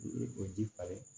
O ji falen